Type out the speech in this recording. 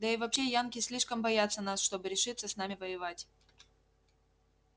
да и вообще янки слишком боятся нас чтобы решиться с нами воевать